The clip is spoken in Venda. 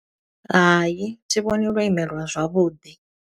Hai, thi vhoni lwo imelwa zwavhuḓi.